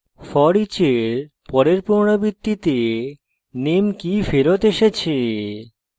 foreach in পরের পুনরাবৃত্তিতে name key ফেরত এসেছে